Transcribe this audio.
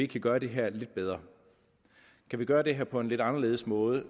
kan gøre det her lidt bedre kan vi gøre det her på en lidt anderledes måde